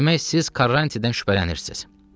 Demək, siz Karrantidən şübhələnirsiniz?